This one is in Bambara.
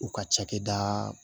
U ka cakɛda